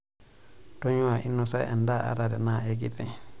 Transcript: Tonyuaa inosa endaa ata tenaa enkiti.